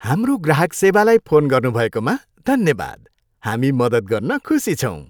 हाम्रो ग्राहक सेवालाई फोन गर्नुभएकोमा धन्यवाद। हामी मद्दत गर्न खुसी छौँ।